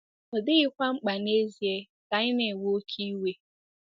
Ọ dịghịkwa mkpa n'ezie ka anyị 'na-ewe oké iwe.